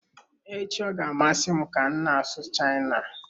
Echi ọ ga-amasị m ka m na-asụ China.